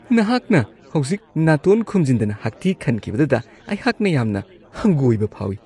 ꯅꯍꯥꯛꯅ ꯍꯧꯖꯤꯛ ꯅꯥꯇꯣꯟ ꯈꯨꯝꯖꯤꯟꯗꯅ ꯍꯥꯛꯊꯤ ꯈꯟꯈꯤꯕꯗꯨꯗ ꯑꯩꯍꯥꯛꯅ ꯌꯥꯝꯅ ꯍꯪꯒꯣꯢꯕ ꯐꯥꯎꯋꯤ ꯫